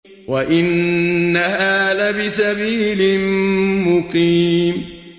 وَإِنَّهَا لَبِسَبِيلٍ مُّقِيمٍ